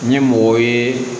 Ni mɔgɔ ye